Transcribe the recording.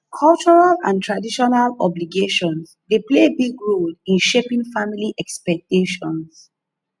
cultural and traditional obligations dey play big role in shaping family expectations